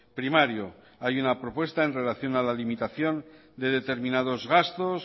primario hay una propuesta en relación a la limitación de determinados gastos